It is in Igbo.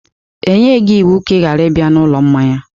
E nyeghị gị iwu ka ị ghara ịbịa ụlọ mmanya!